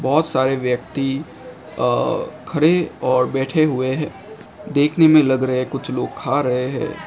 बहुत सारे व्यक्ति खड़े और बैठे हुए हैं देखने में लग रहे हैं कुछ लोग खा रहे हैं।